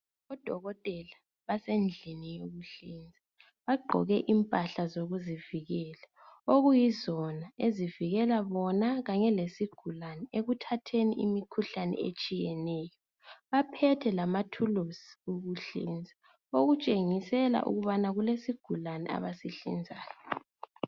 Odokotela basendlini yokunhlinza, bagqoke impahla zokuzivikela, okuyizona ezivikela bona kanye lesigulane ekuthatheni imikhuhlane etshiyeneyo. Baphethe lamathulusi okuhliza okutshengisela ukubana abasihlinzayo.